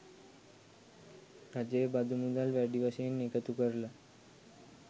රජය බදු මුදල් වැඩි වශයෙන් එකතු කරලා